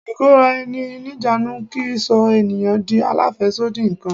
Ikora-eni-nijanu kì í sọ ènìyàn di alafesodi nǹkan.